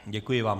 Děkuji vám.